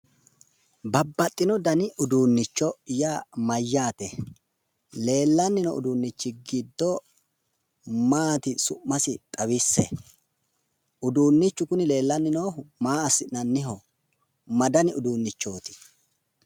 Babbaxitino dani uduunnicho yaa leellanni noo uduunnichi giddo maatiro summasi xawisse? Uduunnichu kuni leellanni noohu maa assinanniho? Ma dani uduunnichooti?